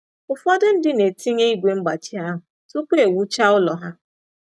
Ụfọdụ ndị na-etinye ígwè mgbachi ahụ tupu e wuchaa ụlọ ha.